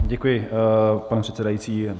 Děkuji, pane předsedající.